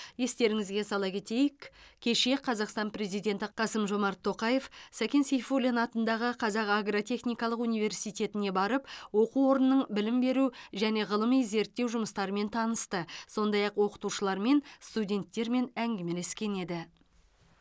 естеріңізге сала кетейік кеше қазақстан президенті қасым жомарт тоқаев сәкен сейфуллин атындағы қазақ агротехникалық университетіне барып оқу орнының білім беру және ғылыми зерттеу жұмыстарымен танысты сондай ақ оқытушылармен студенттермен әңгімелескен еді